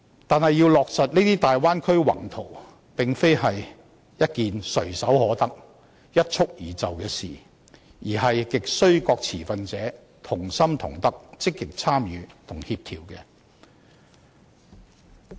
但是，要落實這些大灣區宏圖，並非一件唾手可得，一蹴而就的事情，而亟需各持份者同心同德，積極參與和協調。